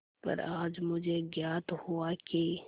पर आज मुझे ज्ञात हुआ कि